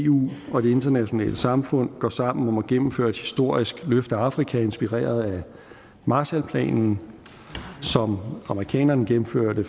eu og det internationale samfund går sammen om at gennemføre et historisk løft af afrika inspireret af marshallplanen som amerikanerne gennemførte